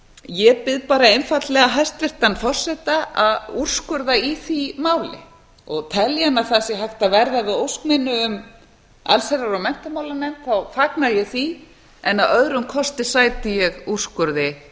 ég bið bara einfaldlega hæstvirtan forseta að úrskurða í því máli og telji hann að hægt sé að verða við ósk minni um allsherjar og menntamálanefnd þá fagna ég því en að öðrum kosti sæti ég úrskurði